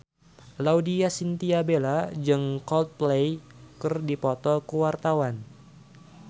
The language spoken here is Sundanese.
Laudya Chintya Bella jeung Coldplay keur dipoto ku wartawan